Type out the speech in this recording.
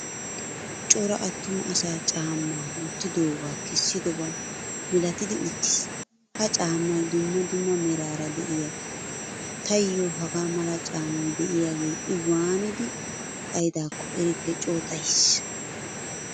Cora attumaa asaa caama wottidoga kesidoba milattidi uttiis. Ha caamay dumma dumma merara de'iyaga. Tayo haagaa mala caamay deiyage I waanidi xayidakko erikke co xayiis.